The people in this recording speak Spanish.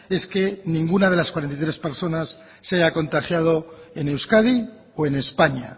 es que ninguna de las cuarenta y tres personas se haya contagiado en euskadi o en españa